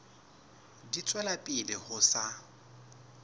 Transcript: di tswela pele ho sa